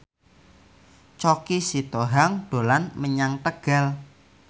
Choky Sitohang dolan menyang Tegal